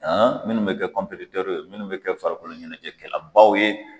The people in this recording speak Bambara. minnu bɛ kɛ ye minnu bɛ kɛ farikolo ɲɛnajɛkɛlabaw ye.